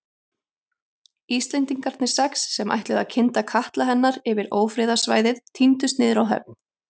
Íslendingarnir sex, sem ætluðu að kynda katla hennar yfir ófriðarsvæðið tíndust niður á höfn.